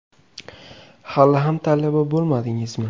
Hali ham talaba bo‘lmadingizmi?